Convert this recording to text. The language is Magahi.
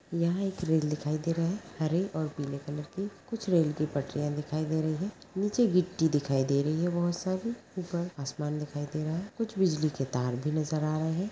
यहाँ एक रेल दिखाई दे रही है हरे और पीले कलर की कुछ रेल की पटरियां दिखाई दे रही हैं नीचे गिट्टी दिखाई दे रही है बहुत सारी ऊपर आसमान दिखाई दे रहा है कुछ बिजली के तार भी नजर आ रहे हैं।